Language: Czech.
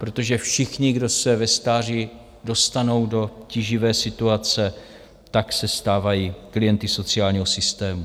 Protože všichni, kdo se ve stáří dostanou do tíživé situace, tak se stávají klienty sociálního systému.